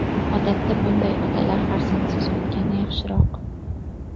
Odatda bunday otalar farzandsiz o‘tgani yaxshiroq.